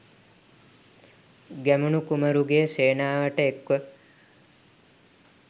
ගැමුණු කුමරුගේ සේනාවට එක්ව